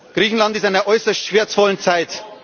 Griechenland ist in einer äußerst schmerzvollen Zeit.